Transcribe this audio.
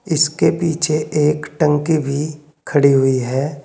इसके पीछे एक टंकी भी खड़ी हुई है।